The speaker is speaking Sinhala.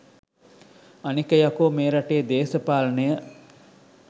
අනික යකෝ මේ රටේ දේශපාලනය